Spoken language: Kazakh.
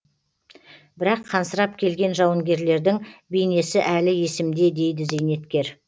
бірақ қансырап келген жауынгерлердің бейнесі әлі есімде дейді зейнеткер